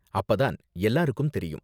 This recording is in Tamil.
அப்ப தான் எல்லாருக்கும் தெரியும்.